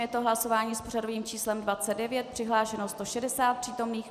Je to hlasování s pořadovým číslem 29. Přihlášeno 160 přítomných.